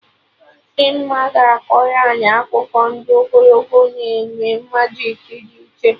Dimma ga-akọrọ anyị akụkọ ndị ogologo na eme majik dị iche